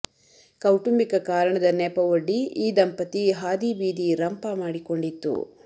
ಕೌಟಂಬಿಕ ಕಾರಣದ ನೆಪವೊಡ್ಡಿ ಈ ದಂಪತಿ ಹಾದಿ ಬೀದಿ ರಂಪ ಮಾಡಿಕೊಂಡಿತ್ತು